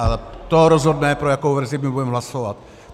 A to rozhodne, pro jakou verzi my budeme hlasovat.